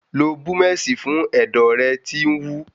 Lo búmẹ̀sì fún ẹ̀dọ̀ rẹ tí ń wú.